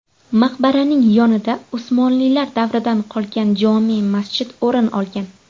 Maqbaraning yonida Usmonlilar davridan qolgan jome’ masjid o‘rin olgan.